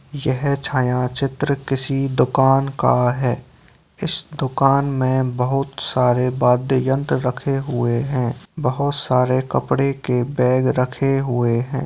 यह छायाचित्र किसी दुकान का है इस दुकान में बहुत सारे वाद्य यंत्र रखे हुए हैं बहुत सारे कपड़े के बैग रखे हुए हैं।